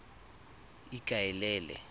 ikaelele